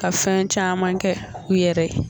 Ka fɛn caman kɛ u yɛrɛ ye